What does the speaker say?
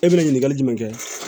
E bɛna ɲininkali jumɛn kɛ